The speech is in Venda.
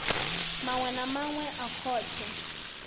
maṅwe na maṅwe a khothe